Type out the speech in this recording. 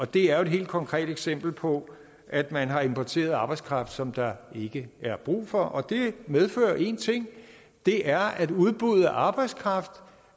det er jo et helt konkret eksempel på at man har importeret arbejdskraft som der ikke er brug for det medfører én ting og det er at udbuddet af arbejdskraft